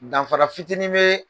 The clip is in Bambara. Danfara fitinin bɛ